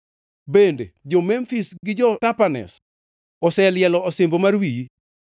Bende, jo-Memfis gi jo-Tapanhes oselielo osimbo mar wiyi.